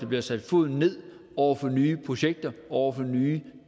bliver sat ned over for nye projekter over for nye